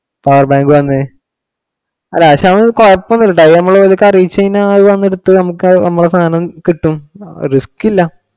Power bank വന്നു. അല്ല അത് പക്ഷെ നമുക്ക് കുഴപ്പം ഒന്നും ഇല്ല. നമ്മള് അവർക്കു അറിയിച്ചു കഴിഞ്ഞാ അവര് വന്നെടുത്തിട്ടു നമുക്ക് നമ്മടെ സാധനം കിട്ടും, risk ഇല്ല.